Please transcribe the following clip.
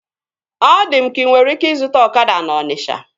Ọ dị m ka inwere ike ịzụta ọkada na Ọnisha